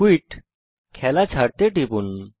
quit - খেলা ছাড়তে টিপুন